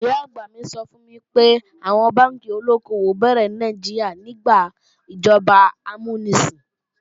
Ìyá-àgbà mi sọ fún mi pé, àwọn bánkì olóko-òwò béèrè ní Nàìjíríà nígbà ìjọba amúnisìn